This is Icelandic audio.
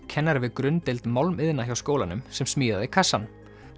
kennari við grunndeild málmiðna hjá skólanum sem smíðaði kassann